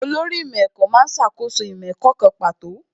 Olórí ìmọ̀ ẹ̀kọ́ má ń ṣàkóso ìmọ̀ ẹ̀kọ́ kan pàtó